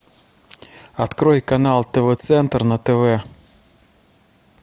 открой канал тв центр на тв